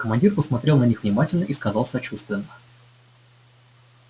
командир посмотрел на них внимательно и сказал сочувственно